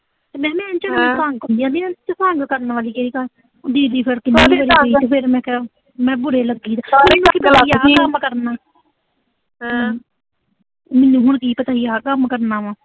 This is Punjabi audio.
ਤੇ ਮੈਨੂੰ ਇੰਜ ਕਰੀ ਜਾਂਦੀ ਆ ਵੀ ਇਸ ਚ ਕਰਨ ਵਾਲੀ ਕਿਹੜੀ ਗੱਲ ਆ। ਦੀਦੀ ਫਿਰ ਤੇ ਫਿਰ ਮੈਂ ਕਿਆ, ਮੈਂ ਕਿਆ ਬੁਰੇ ਲੱਗਾਂ ਗੇ ਮੈਨੂੰ ਹੁਣ ਕੀ ਪਤਾ ਸੀ, ਆਹ ਕੰਮ ਕਰਨਾ ਵਾ।